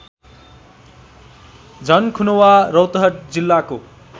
झनखुनवा रौतहट जिल्लाको